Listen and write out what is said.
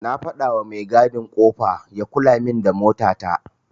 Na gayawa mai gadin kofa ya kulamin da mota ta.